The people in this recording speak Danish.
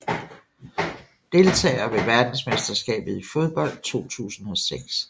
Deltagere ved verdensmesterskabet i fodbold 2006